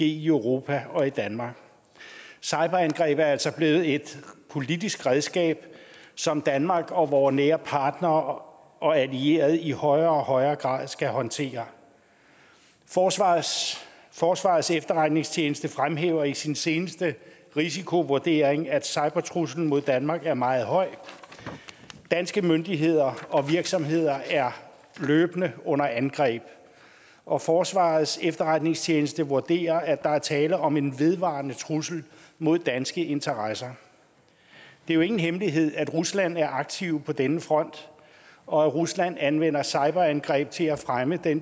i europa og i danmark cyberangreb er altså blevet et politisk redskab som danmark og vore nære partnere og allierede i højere og højere grad skal håndtere forsvarets forsvarets efterretningstjeneste fremhæver i sin seneste risikovurdering at cybertruslen mod danmark er meget høj danske myndigheder og virksomheder er løbende under angreb og forsvarets efterretningstjeneste vurderer at der er tale om en vedvarende trussel mod danske interesser det er jo ingen hemmelighed at rusland er aktive på denne front og at rusland anvender cyberangreb til at fremme